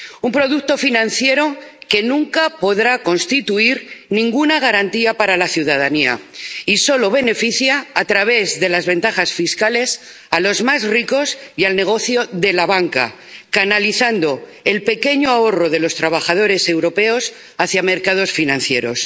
Un producto financiero que nunca podrá constituir ninguna garantía para la ciudadanía y solo beneficia, a través de las ventajas fiscales, a los más ricos y al negocio de la banca, canalizando el pequeño ahorro de los trabajadores europeos hacia mercados financieros.